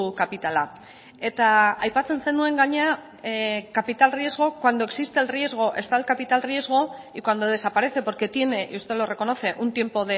kapitala eta aipatzen zenuen gainera capital riesgo cuando existe el riesgo está el capital riesgo y cuando desaparece porque tiene y usted lo reconoce un tiempo